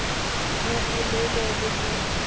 bo bo lelele le bo